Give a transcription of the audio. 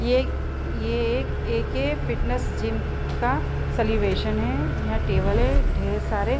ये एक- ये एक- एक फिटनेस जिम का सेलिब्रेशन है। यहाँ टेबल है। ढेर सारे --